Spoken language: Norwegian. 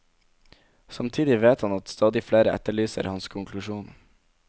Samtidig vet han at stadig flere efterlyser hans konklusjon.